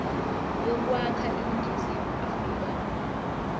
yokwakha iningizimu afrika